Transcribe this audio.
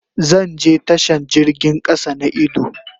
Zan je tashan jirgin kasa na idu.